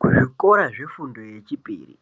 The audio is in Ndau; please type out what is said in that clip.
Kuzvikora zvefundo yechipiri,